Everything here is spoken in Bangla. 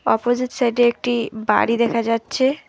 অপজিট সাইডে একটি বাড়ি দেখা যাচ্ছে।